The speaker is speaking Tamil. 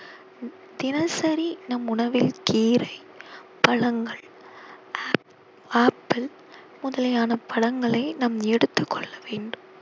தினசரி நம் உணவில் கீரை, பழங்கள், ஆ~ ஆப்பிள் முதலியன பழங்களை நாம் எடுத்துக் கொள்ள வேண்டும்